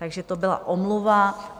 Takže to byla omluva.